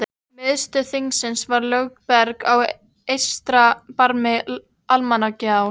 Miðstöð þingsins var Lögberg á eystra barmi Almannagjár.